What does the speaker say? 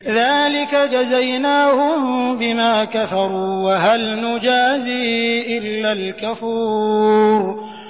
ذَٰلِكَ جَزَيْنَاهُم بِمَا كَفَرُوا ۖ وَهَلْ نُجَازِي إِلَّا الْكَفُورَ